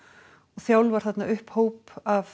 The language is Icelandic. þjálfar upp hóp af